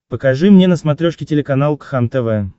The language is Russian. покажи мне на смотрешке телеканал кхлм тв